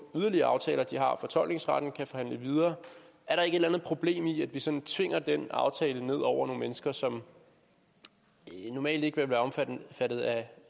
yderligere aftaler de har fortolkningsretten og kan forhandle videre er der ikke et eller andet problem i at vi sådan tvinger den aftale ned over nogle mennesker som normalt ikke ville være omfattet af af